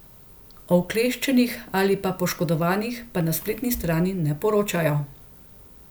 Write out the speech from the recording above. O vkleščenih ali pa poškodovanih pa na spletni strani ne poročajo.